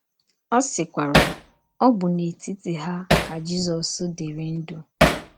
Ọ sịkwara: “ Ọ bụ n’etiti ha ka Jizọs dịrị ndụ. ”